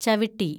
ചവിട്ടി